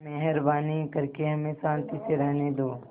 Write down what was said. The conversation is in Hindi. मेहरबानी करके हमें शान्ति से रहने दो